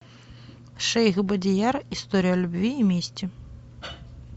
шейх бадияр история любви и мести